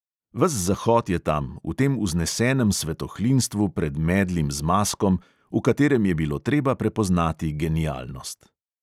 Ves zahod je tam, v tem vznesenem svetohlinstvu pred medlim zmazkom, v katerem je bilo treba prepoznati genialnost.